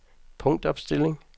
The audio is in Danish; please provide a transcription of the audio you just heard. punktopstilling